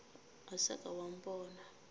ga sa ka wa mpona